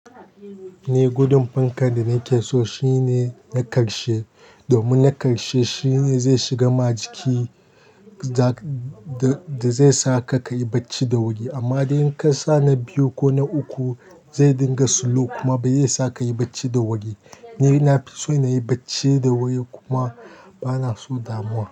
Ni gudun fankar da nake so shine na ƙarshe. Domin na ƙarshe shine zai shigar ma jiki da zai sa ka kayi bacci da wuri. Amma idan ka sa na biyu ko na uku zai dinga slow kuma ba zai sa kayi bacci da wuri. Ni nafison nayi bacci da wuri kuma bana son damuwa.